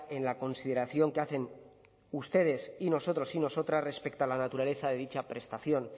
en la consideración que hacen ustedes y nosotros y nosotras respecto a la naturaleza de dicha prestación